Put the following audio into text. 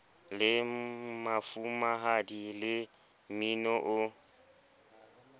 le mafumahadi le mmini o